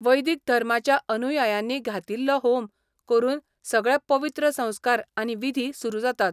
वैदीक धर्माच्या अनुयायांनी घातिल्लो होम करून सगळे पवित्र संस्कार आनी विधी सुरू जातात.